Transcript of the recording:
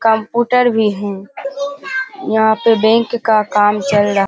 Computer भी हैं। यहाँ पे बैंक का काम चल रहा है।